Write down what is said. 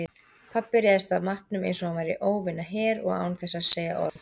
Pabbi réðst að matnum einsog hann væri óvinaher og án þess að segja orð.